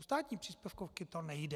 U státní příspěvkovky to nejde.